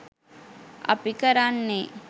අපි කරන්නේ